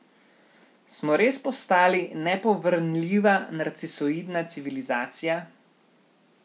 Smo res postali nepovrnljiva narcisoidna civilizacija?